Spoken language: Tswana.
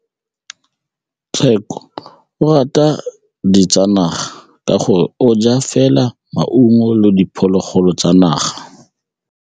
Tshekô o rata ditsanaga ka gore o ja fela maungo le diphologolo tsa naga.